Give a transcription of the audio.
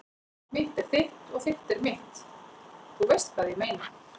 Mitt er þitt og þitt er mitt- þú veist hvað ég meina.